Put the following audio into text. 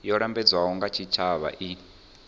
yo lambedzwaho nga tshitshavha i